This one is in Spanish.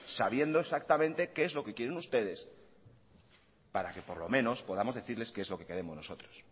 sabiendo exactamente qué es lo que quieren ustedes para que por lo menos podamos decirles qué es lo que queremos nosotros